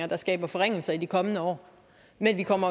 der skaber forringelser i de kommende år men vi kommer